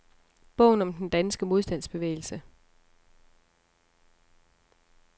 Bogen om den danske modstandsbevægelse.